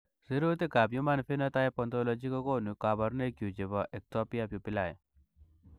Sirutikab Human Phenotype Ontology kokonu koborunoikchu chebo Ectopia pupillae.